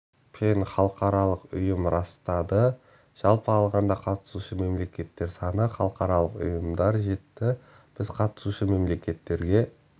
пен халықаралық ұйым растады жалпы алғанда қатысушы мемлекеттер саны халықаралық ұйымдар жетті біз қатысушы мемлекеттерге